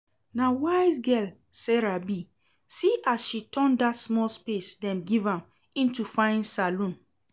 Na wise girl Sarah be, see as she turn dat small space dem give am into fine salon